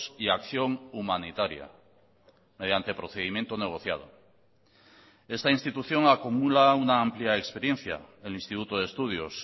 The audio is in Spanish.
y acción humanitaria mediante procedimiento negociado esta institución acumula una amplia experiencia el instituto de estudios